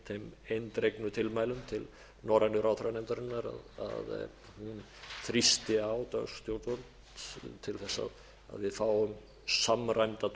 þeim eindregnu tilmælum til norrænu ráðherranefndarinnar að hún þrýsti á dönsk stjórnvöld til þess að við fáum samræmda túlkun um